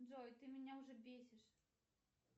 джой ты меня уже бесишь